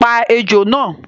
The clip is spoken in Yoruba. Pa ejò náà